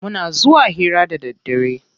Muna zuwa hira da daddare.